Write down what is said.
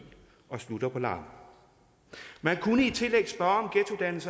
og slutter på lam man kunne i tillæg spørge